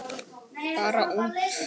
Bara út.